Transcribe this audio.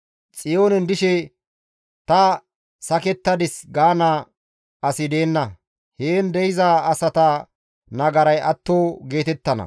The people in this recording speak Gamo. Xiyoonen dishe, «Ta sakettadis» gaana asi deenna; heen de7iza asata nagaray atto geetettana.